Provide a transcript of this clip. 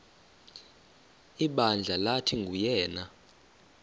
ibandla lathi nguyena